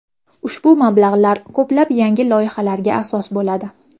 Ushbu mablag‘lar ko‘plab yangi loyihalarga asos bo‘ladi.